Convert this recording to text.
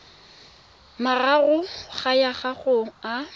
mararo go ya go a